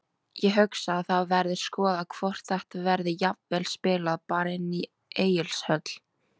Ég hugsa að það verði skoðað hvort þetta verði jafnvel spilað bara inni í Egilshöll.